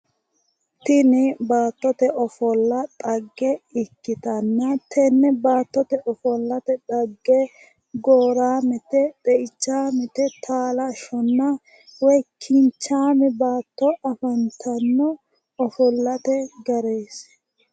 Tini baattote ofolla dhagge ikkitanna tenne baattote ofollate xagge gooraamete xeichaamete taalashshonna woyi kinchaame baatto afantanno ofollate garise